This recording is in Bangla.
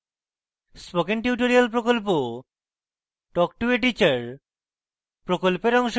spoken tutorial প্রকল্প talk to a teacher প্রকল্পের অংশবিশেষ